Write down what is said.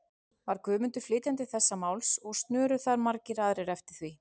Var Guðmundur flytjandi þessa máls, og snöru þar margir aðrir eftir því.